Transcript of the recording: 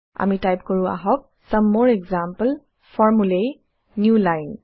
আমি টাইপ কৰো আহক চমে মৰে এক্সাম্পল formulae newline